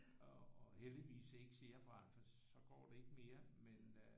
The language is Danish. Og heldigvis ikke cerebral for så går det ikke mere men øh